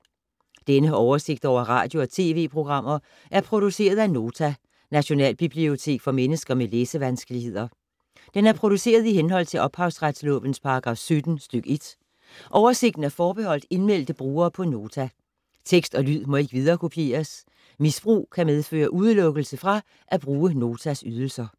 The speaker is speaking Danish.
Denne oversigt over radio og TV-programmer er produceret af Nota, Nationalbibliotek for mennesker med læsevanskeligheder. Den er produceret i henhold til ophavsretslovens paragraf 17 stk. 1. Oversigten er forbeholdt indmeldte brugere på Nota. Tekst og lyd må ikke viderekopieres. Misbrug kan medføre udelukkelse fra at bruge Notas ydelser.